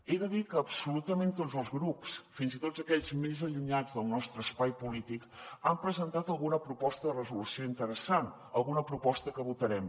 he de dir que absolutament tots els grups fins i tot aquells més allunyats del nostre espai polític han presentat alguna proposta de resolució interessant alguna proposta que votarem